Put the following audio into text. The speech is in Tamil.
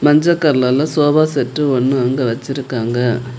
மஞ்ச கலர்ல சோபா செட்டு ஒன்னு அங்க வெச்சிருக்காங்க.